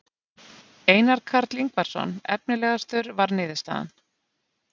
Einar Karl Ingvarsson efnilegastur var niðurstaðan.